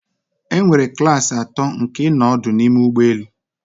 Enwere klasi atọ nke ịnọ ọdụ n'ime ụgbọ elu